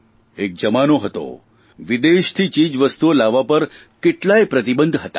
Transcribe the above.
એક જમાનો હતો વિદેશથી ચીજવસ્તુઓ લાવવા પર કેટલાય પ્રતિબંધ હતા